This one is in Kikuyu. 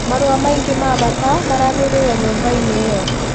Marũa maingĩ ma bata marahĩrĩire nyũmba-inĩ ĩyo